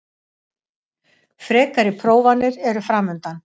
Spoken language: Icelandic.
Frekari prófanir eru framundan